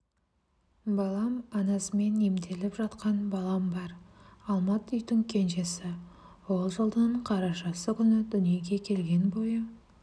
балам анасымен емделіп жатқан балам бар алмат үйдің кенжесі ол жылдың қарашасы күні дүниеге келген бойы